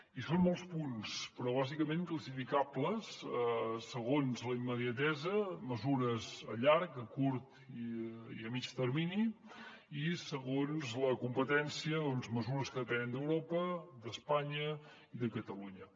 i són molts punts però bàsicament classificables segons la immediatesa mesures a llarg a curt i a mitjà termini i segons la competència mesures que depenen d’europa d’espanya i de catalunya